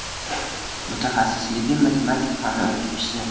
Mutaxassisligim matematika fani o‘qituvchisi.